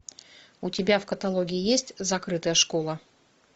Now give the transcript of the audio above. у тебя в каталоге есть закрытая школа